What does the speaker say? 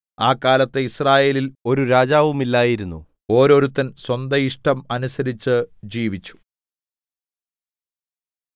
ആ കാലത്ത് യിസ്രായേലിൽ ഒരു രാജാവുമില്ലായിരുന്നു ഓരോരുത്തൻ സ്വന്തം ഇഷ്ടം അനുസരിച്ചു ജീവിച്ചു